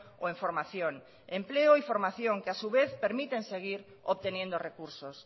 o en formación empleo y formación que a su vez permiten seguir obteniendo recursos